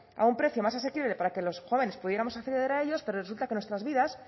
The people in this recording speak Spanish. a un precio más asequible para que los jóvenes pudiéramos acceder a ellos pero resulta que nuestras vidas